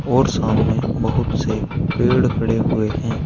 और सामने बहुत से पेड़ खड़े हुए हैं।